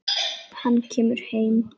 Hann kemur heim.